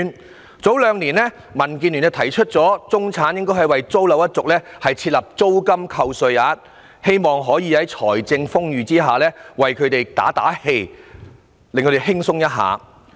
民主建港協進聯盟在兩年前提出應為中產租樓一族設立租金扣稅額，希望可以在財政豐裕的情況下，為他們打打氣，讓他們生活可較輕鬆。